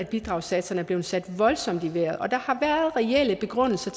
bidragssatserne er blevet sat voldsomt i vejret og der har været reelle begrundelser